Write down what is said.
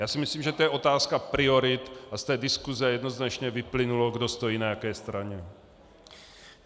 Já si myslím, že to je otázka priorit, a z té diskuse jednoznačně vyplynulo, kdo stojí na jaké straně.